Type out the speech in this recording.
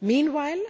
Meanwhile,